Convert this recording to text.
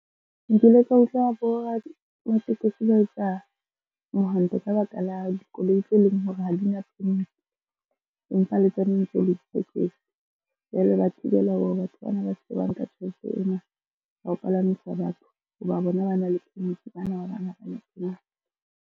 Nkile ka utlwa boramatekesi ba etsa mohanto ka baka la dikoloi tse leng hore ha di-permit mpha le tsane tseo le ditekesi empa le tsona ntse le ditekesi. Jwale ba thibela hore batho bana ba se ke ba nka tjhelete ena ya ho palamisa batho, ho ba bona ba na le permit, bana ba bang ha ba na yona.